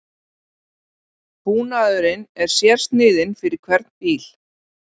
Búnaðurinn er sérsniðinn fyrir hvern bíl